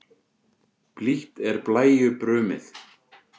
Blítt er blæju brumið.